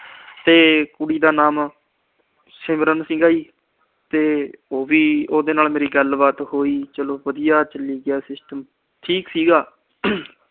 ਤੇ ਕੁੜੀ ਦਾ ਨਾਮ ਸਿਮਰਨ ਸੀਗਾ ਤੇ ਉਹਦੇ ਨਾਲ ਮੇਰੀ ਗੱਲਬਾਤ ਹੋਈ। ਚਲੋ ਵਧੀਆ ਚਲੀ ਗਿਆ system ਠੀਕ ਸੀਗਾ।